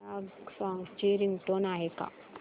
या सॉन्ग ची रिंगटोन आहे का